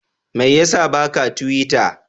Mai ya sa ba ka tiwita?